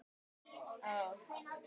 Og hvaða ferðalag er á þér?